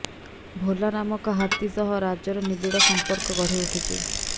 ଭୋଲା ନାମକ ହାତୀ ସହ ରାଜର ନିବିଡ଼ ସଂପର୍କ ଗଢ଼ିଉଠୁଛି